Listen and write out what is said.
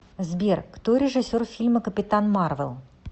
сбер кто режиссер фильма капитан марвел